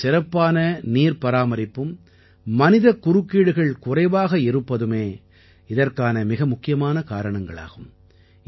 இங்கே சிறப்பான நீர்ப்பராமரிப்பும் மனிதக் குறுக்கீடுகள் குறைவாக இருப்பதுமே இதற்கான மிக முக்கியமான காரணங்களாகும்